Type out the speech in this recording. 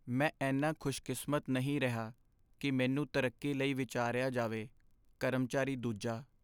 ਮੈਂ ਇੰਨਾ ਖੁਸ਼ਕਿਸਮਤ ਨਹੀਂ ਰਿਹਾ ਕੀ ਮੈਨੂੰ ਤਰੱਕੀ ਲਈ ਵਿਚਾਰਿਆ ਜਾਵੇ ਕਰਮਚਾਰੀ ਦੂਜਾ